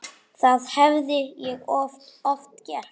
Það hafði ég oft gert.